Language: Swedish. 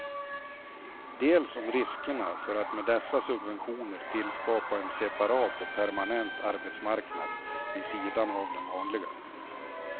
Dels om riskerna för att med dessa subventioner tillskapa en separat och permanent arbetsmarknad vid sidan av den vanliga.